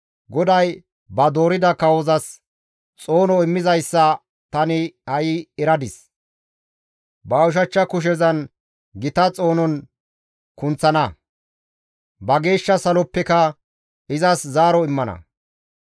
GODAY ba doorida kawozas xoono immizayssa tani ha7i eradis; ba ushachcha kushezan izi gita xoonon kunththana; ba geeshsha saloppeka izas zaaro immana.